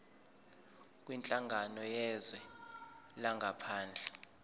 kwinhlangano yezwe langaphandle